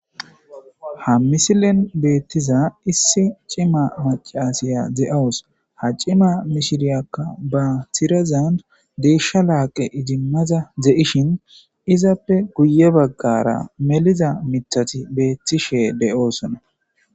ha misilen beettiza issi cima macasiya ze7owus ha cima mishiriyakka ba tirazand deeshsha laaqe ijimmaza zeishin izappe guye baggara meliza mithati beettishe de7oosona